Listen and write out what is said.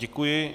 Děkuji.